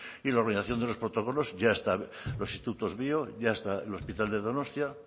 y la organización de los protocolos ya está los institutos bio ya está el hospital de donostia